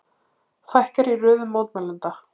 Fækkar í röðum mótmælenda